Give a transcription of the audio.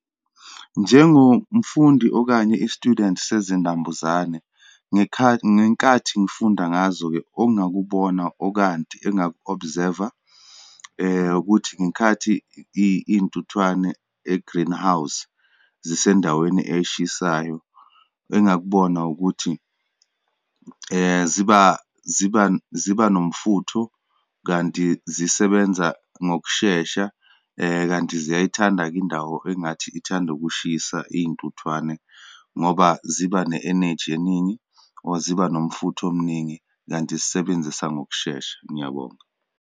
Njengomfundi, okanye i-student sezinambuzane, ngenkathi ngifunda ngazo-ke ongakubona, okanti engaku-observe-a, ukuthi ngenkathi iyintuthwane e-greenhouse zisendaweni eshisayo, engakubona ukuthi ziba, ziba, ziba nomfutho kanti zisebenza ngokushesha, kanti ziyayithanda-ke indawo engathi ithanda ukushisa, iyintuthwane ngoba ziba ne eneji eningi, or ziba nomfutho omningi, kanti zisebenzisa ngokushesha. Ngiyabonga.